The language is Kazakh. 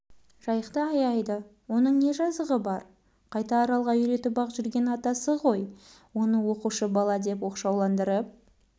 жайықты аяйды оның не жазығы бар қайта аралға үйретіп-ақ жүргені атасы ғой оны оқушы баладеп оқшауландырып